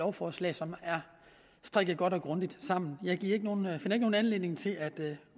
lovforslag som er strikket godt og grundigt sammen jeg finder ikke nogen anledning til at